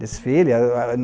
Desfile. Era